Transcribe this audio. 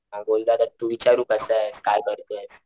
म बोल्लो तू कसायस काय करतोयस.